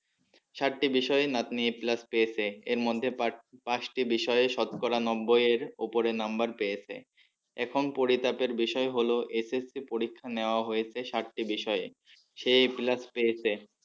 সাত বিষয়ে নাতনি a plus পেয়েছে এর মধ্যে পাঁচ পাঁচটি বিষয়ে সৎ করা নব্বই এর উপরে number পেয়েছে এখন পরিতাপের বিষয় হলো SSC পরীক্ষা নেওয়া হয়েছে সাতটি বিষয়ে সে a plus পেয়েছে।